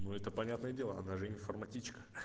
ну это понятное дело она же информатичка